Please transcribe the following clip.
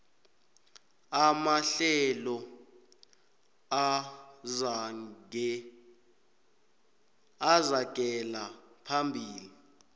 amahlelo aragela phambili